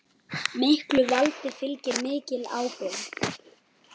Miklu valdi fylgir mikil ábyrgð.